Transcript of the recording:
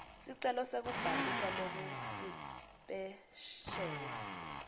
sicelo sekubhaliswa lokusipesheli